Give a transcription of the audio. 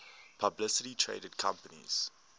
publicly traded companies